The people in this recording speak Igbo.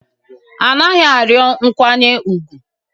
A naghị arịọ nkwanye ùgwù